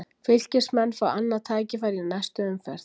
Fylkismenn fá annað tækifæri í næstu umferð